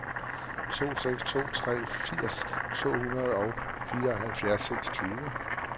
to seks to tre firs to hundrede og fireoghalvfjerds